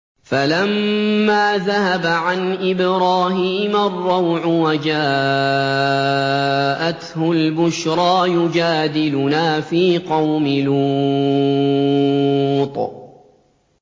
فَلَمَّا ذَهَبَ عَنْ إِبْرَاهِيمَ الرَّوْعُ وَجَاءَتْهُ الْبُشْرَىٰ يُجَادِلُنَا فِي قَوْمِ لُوطٍ